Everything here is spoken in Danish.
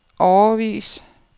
årevis